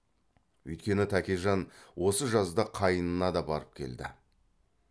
өйткені тәкежан осы жазда қайнына да барып келді